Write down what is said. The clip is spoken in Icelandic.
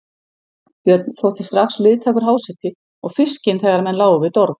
Björn þótti strax liðtækur háseti og fiskinn þegar menn lágu við dorg.